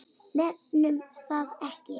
Nefnum það ekki.